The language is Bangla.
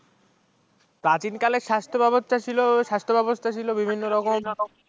প্রাচীনকালে যে স্বাস্থ্য ব্যবস্থা ছিল স্বাস্থ্য ব্যবস্থা ছিল বিভিন্ন রকম